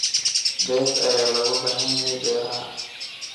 Bees ayaa looga baahan yahay beeraha.